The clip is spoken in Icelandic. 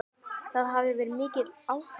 Það hafi verið mikið áfall.